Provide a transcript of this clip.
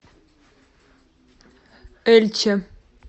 эльче